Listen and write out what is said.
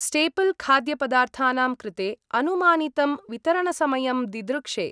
Staple खाद्यपदार्थानां कृते अनुमानितं वितरणसमयं दिदृक्षे।